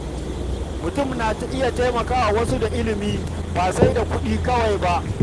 Mutum na iya taimakawa wasu da ilimi, ba sai da kuɗi kawai ba.